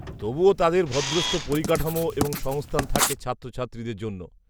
-তবুও তাদের ভদ্রস্থ পরিকাঠামো এবং সংস্থান থাকে ছাত্রছাত্রীদের জন্য।